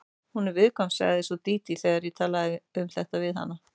Hún er viðkvæm, sagði svo Dídí þegar ég talaði um þetta við hana.